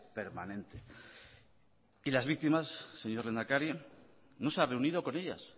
permanente y las víctimas señor lehendakari no se ha reunido con ellas